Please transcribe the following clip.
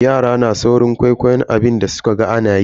Yara na saurin kwaikwayon abin da sukaga anayi.